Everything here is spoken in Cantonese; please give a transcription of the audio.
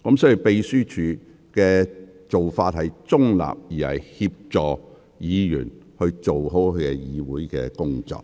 所以，秘書處是中立地協助議員做好議會工作。